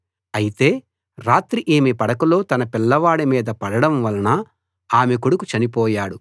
అయితే రాత్రి ఈమె పడకలో తన పిల్లవాడి మీద పడడం వలన ఆమె కొడుకు చనిపోయాడు